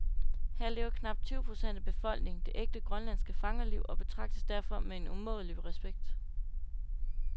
Her lever knap tyve procent af befolkningen det ægte, grønlandske fangerliv og betragtes derfor med en umådelig respekt.